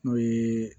N'o ye